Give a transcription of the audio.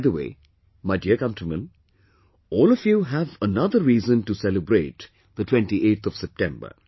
By the way, my dear countrymen, all of you have another reason to celebrate the 28th of September